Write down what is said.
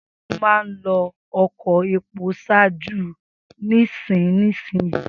Segunmáa ń lo ọkọ epo ṣáájú nísinsìnyí